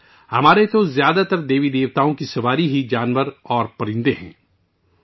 ہمارے زیادہ تر دیوی دیوتا جانوروں اور پرندوں کی سواری کرتے ہیں